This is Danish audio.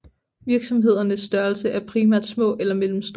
Virksomhedernes størrelse er primært små eller mellemstore